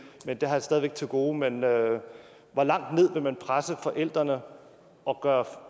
det har jeg stadig væk til gode men hvor langt ned vil man presse forældrene og gøre